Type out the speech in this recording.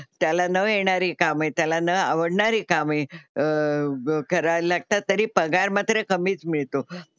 त्याला न येणारी कामे, त्याला न आवडणारी कामे अह करावी लागतात तरी पगार मात्र कमीच मिळतो.